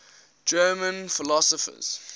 german philosophers